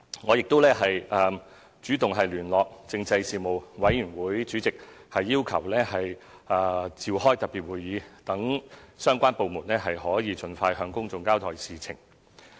我亦主動聯絡立法會政制事務委員會主席，要求召開特別會議，讓相關部門可盡快向公眾交代事情。